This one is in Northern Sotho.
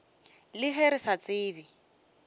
le ge re sa tsebe